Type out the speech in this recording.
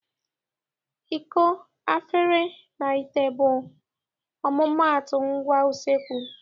Iko, afere, na ite bụ ọmụmaatụ ngwa useekwu.